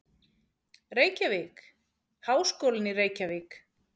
Reykjavík: Háskólinn í Reykjavík.